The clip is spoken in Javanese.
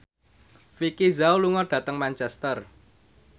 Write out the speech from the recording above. Vicki Zao lunga dhateng Manchester